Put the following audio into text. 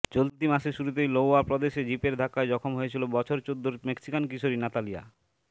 চলতি মাসের শুরুতেই লোওয়া প্রদেশে জিপের ধাক্কায় জখম হয়েছিল বছর চোদ্দোর মেক্সিকান কিশোরী নাতালিয়া